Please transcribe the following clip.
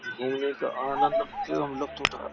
घूमने से आनंद फिर हमलोग उठा --